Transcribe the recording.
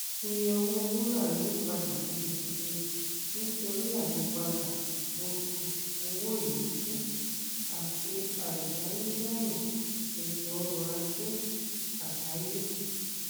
iye owó wúrà yí padà gidigidi nítorí ayípadà oṣù owó ilẹkùn àti àìdánilẹyìn ètò ọrọ ajé àgbáyé